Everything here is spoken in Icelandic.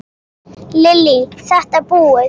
Lillý:. þetta búið?